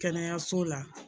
Kɛnɛyaso la